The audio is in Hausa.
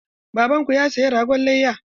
Baban ku ya saya ragon layya?